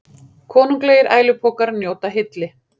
Konunglegir ælupokar njóta hylli